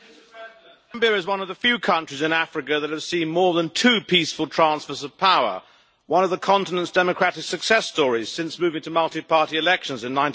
Mr President, Zambia is one of the few countries in Africa that have seen more than two peaceful transfers of power one of the continent's democratic success stories since moving to multi-party elections in